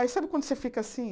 Aí sabe quando você fica assim?